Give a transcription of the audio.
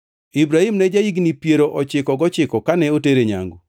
Ibrahim ne ja-higni piero ochiko gochiko kane otere nyangu,